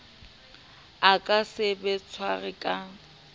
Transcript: a ka se tshwarwe ka